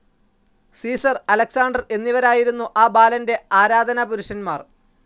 Caesar, Alexander എന്നിവരായിരുന്നു ആ ബാലന്റെ ആരാധനാപുരുഷന്മാർ.